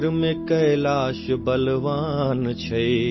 उत्तर में कैलाश बलवान है